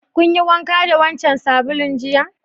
Kun yi wanka da wancan sabulun jiya?